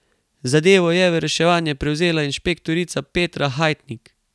Zadevo je v reševanje prevzela inšpektorica Petra Hajtnik.